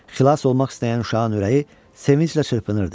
Xilas olmaq istəyən uşağın ürəyi sevinclə çırpınırdı.